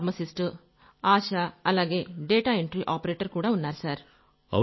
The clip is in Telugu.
ఫార్మసిస్ట్ ఆశా అలాగే డేటా ఎంట్రీ ఆపరేటర్ కూడా ఉన్నారు సర్